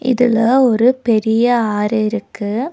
இதுல ஒரு பெரிய ஆறு இருக்கு.